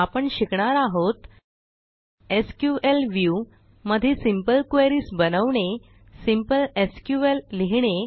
आपण शिकणार आहोत एसक्यूएल व्ह्यू मध्ये सिंपल क्वेरीज बनवणे सिंपल SQLलिहिणे